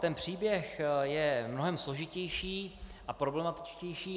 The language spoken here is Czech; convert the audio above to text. Ten příběh je mnohem složitější a problematičtější.